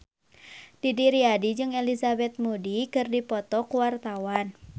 Didi Riyadi jeung Elizabeth Moody keur dipoto ku wartawan